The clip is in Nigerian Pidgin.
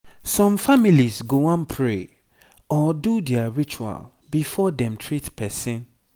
some families go wan pray or do their ritual before dem treat person